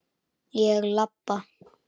Ég labba.